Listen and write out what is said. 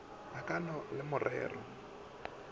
ka o na le marere